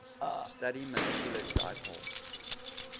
study molecular dipoles